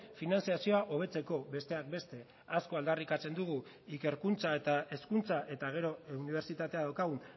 finantzazioa hobetzeko besteak beste asko aldarrikatzen dugu ikerkuntza eta hezkuntza eta gero unibertsitatea daukagu